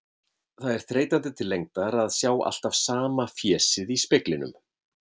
Það er þreytandi til lengdar að sjá alltaf sama fésið í speglinum.